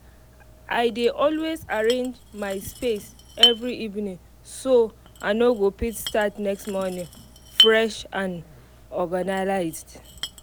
i dey always arrange my space every evening so i go fit start next morning fresh and organislzed